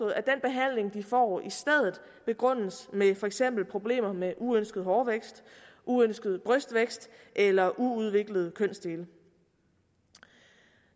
at den behandling de får i stedet begrundes med for eksempel problemer med uønsket hårvækst uønsket brystvækst eller uudviklede kønsdele